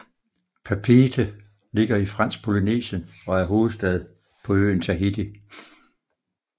Papeete ligger i Fransk Polynesien og er hovedstad på øen Tahiti